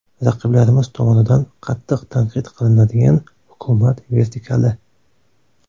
Raqiblarimiz tomonidan qattiq tanqid qilinadigan hukumat vertikali.